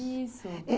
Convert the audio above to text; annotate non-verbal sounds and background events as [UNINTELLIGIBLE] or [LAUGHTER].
Isso. [UNINTELLIGIBLE]